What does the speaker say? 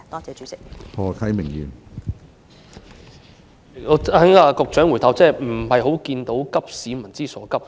主席，從局長的答覆，我看不到她急市民所急。